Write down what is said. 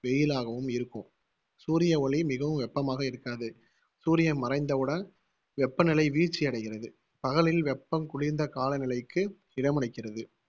வெயிலாகவும் இருக்கும். சூரிய ஒளி மிகவும் வெப்பமாக இருக்காது. சூரியன் மறைந்தவுடன் வெப்பநிலை வீழ்ச்சியடைகிறது, பகலில் வெப்பம் குளிர்ந்த காலநிலைக்கு இதமளிக்கிறது.